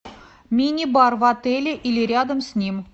мини бар в отеле или рядом с ним